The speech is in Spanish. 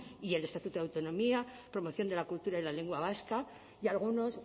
y el estatuto de autonomía promoción de la cultura y la lengua vasca y algunos